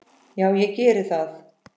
Já, ég geri það